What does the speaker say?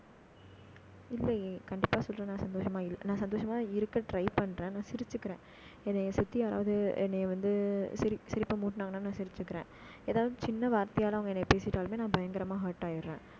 இல்லையே, கண்டிப்பா சொல்றேன்னா சந்தோஷமா இல்லை. நான் சந்தோஷமா இருக்க, try பண்றேன். நான் சிரிச்சுக்கிறேன் என்னைய சுத்தி யாராவது என்னைய வந்து, ஆஹ் சிரிப்பை மூட்டுனாங்கன்னா, நான் சிரிச்சுக்கிறேன். ஏதாவது சின்ன வார்த்தையால, அவங்க என்னை பேசிட்டாலுமே நான் பயங்கரமா hurt ஆயிடுறேன்